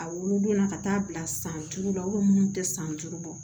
A wolodon na ka taa bila san duuru la munnu tɛ san duuru bɔ